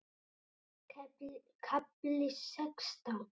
KAFLI SEXTÁN